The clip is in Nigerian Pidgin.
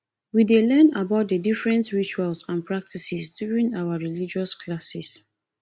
we dey learn about the different rituals and practices during our religious classes